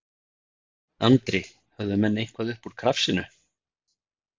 Andri: Höfðu menn eitthvað upp úr krafsinu?